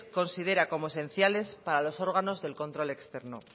considera como esenciales para los órganos del control externo